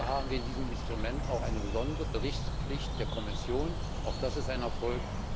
Dafür haben wir in diesem Instrument auch eine besondere Berichtspflicht der Kommission verankert auch das ist ein Erfolg!